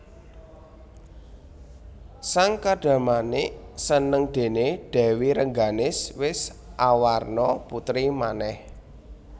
Sang Kadarmanik seneng déné Dèwi Rengganis wis awarna putri manèh